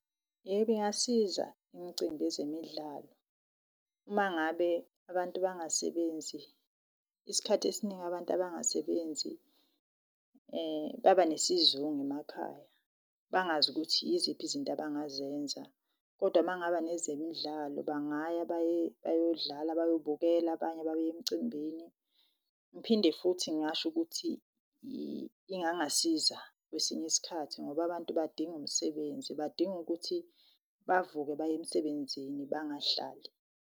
Yebo, ingasiza imcimbi yezemidlalo uma ngabe abantu bangasebenzi, isikhathi esiningi abantu abangasebenzi baba nesizungu emakhaya bangazukuthi yiziphi izinto abangazenza. Kodwa makungaba nezemidlalo bangaya bayodlala, bayobukela, abanye baye emcimbini. Ngiphinde futhi ngingasho ukuthi ingangasiza kwesinye isikhathi ngoba abantu badinga umsebenzi, badinga ukuthi bavuke baye emsebenzini bangahlali.